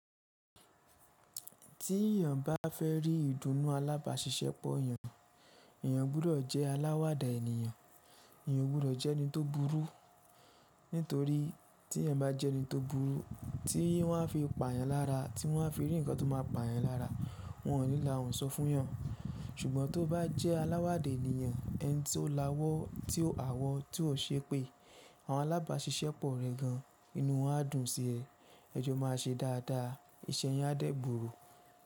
Tí èyàn bá fẹ́ rí ìdùnnú alábàáṣiṣẹ́pọ̀ èyàn, èyàn gbọ́dọ̀ jẹ́ aláwàda ènìyàn, èyàn o gbọ́dọ̀ jẹ́ ẹni tó burú. Nítorí tí èyàn bá jẹ́ ẹni tó burú, tí wọ́n a fi pa yan lára, tí wọ́n a fi rí ǹkan tó máa pa yan lára, wọn ò ní láhùn sọ fún yàn. Ṣùgbọ́n tó bá jẹ́ aláwàda ènìyàn, ẹni tí ó láwọ́, tí ó hawọ̀, tí ò ṣeepé àwọn alábáṣiṣẹ́pọ̀ rẹ̀ gan inú wọn á dùn sí ẹ. Ẹjọ́ máa ṣe dáadáa iṣẹ́ yin á dẹ́ gbooro.